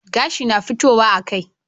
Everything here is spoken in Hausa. Gashi na fitowa a kai